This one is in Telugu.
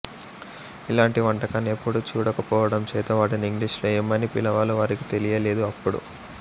ఇలాంటి వంటకాన్ని ఎప్పుడూ చూడకపోవడం చేత వాటిని ఇంగ్లీషులో ఏమని పిలవాలో వారికి తెలియలేదు అప్పుడు